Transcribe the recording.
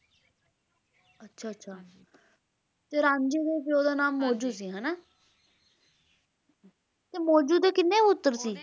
ਅੱਛਾ ਅੱਛਾ ਤੇ ਰਾਂਝੇ ਦੇ ਪਿਓ ਦਾ ਨਾਮ ਮੌਜੂ ਸੀ ਹੈ ਨਾ ਤੇ ਮੌਜੂ ਦੇ ਕਿੰਨੇ ਪੁੱਤਰ ਸੀ